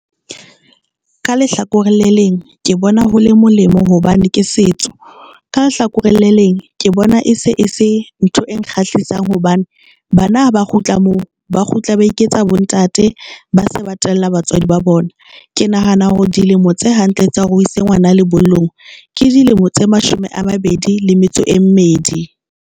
Ka lehlakoreng le leng, ke bona ho le molemo hobane ke setso, ka lehlakoreng le leng ke bona e se e se ntho e kgahlisang hobane bana ha ba kgutla moo ba kgutla ba iketsa bontate, ba se ba tella batswadi ba bona. Ke nahana hore dilemo tse hantle tsa hore o ise ngwana lebollong ke dilemo tse mashome a mabedi le metso e mmedi.